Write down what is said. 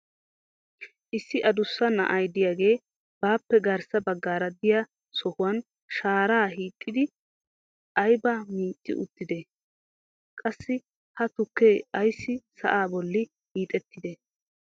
issi addussa na"ay diyaagee baappe garssa bagaara diya sohuwan sharaa hiixxidi aybaa micci uttidee? qassi ha tukkee ayssi sa'aa boli hiixettidee?